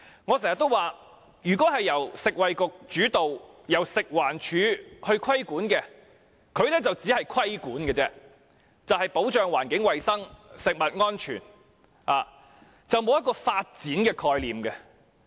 我經常說，由食衞局主導，食物環境衞生署規管，就只是規管，以保障環境及食物安全，並無發展的概念。